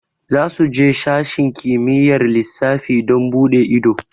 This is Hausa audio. Za su je sashen kimiyyar lissafi don buɗe ido